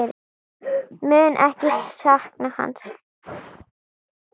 Mun ekki sakna hans.